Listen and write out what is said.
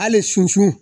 Hali sunsun